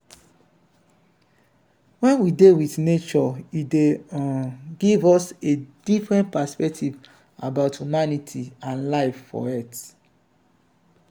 when we dey with nature e dey um give us a differnt perspective about humanity and life for earth